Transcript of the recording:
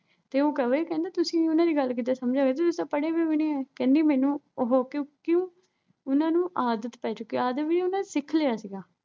ਤੇ ਉਹ ਕਹੇ। ਕਹਿੰਦਾ ਤੁਸੀਂ ਉਨ੍ਹਾਂ ਦੀ ਗੱਲ ਕਿੱਦਾਂ ਸਮਝ ਰਹੇ ਓਂ, ਤੁਸੀਂ ਤਾਂ ਪੜ੍ਹੇ ਬਏ ਵੀ ਨਹੀਂ ਓਂ। ਕਹਿੰਦੀ ਮੈਨੂੰ ਉਹੋ ਕਿਉਂਕਿ ਉਨ੍ਹਾਂ ਨੂੰ ਆਦਤ ਪੈ ਚੁੱਕੀ ਸੀ। ਆਦਤ ਵੀ ਉਨ੍ਹਾਂ ਨੇ ਸਿੱਖ ਲਿਆ ਸੀਗਾ।